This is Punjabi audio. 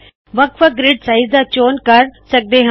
ਵੱਖ ਵੱਖ ਗ੍ਰਿਡ ਸਾਈਜ਼ ਦਾ ਚੌਣ ਕਰ ਸਕਦੇ ਹਾ